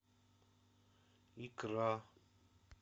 икра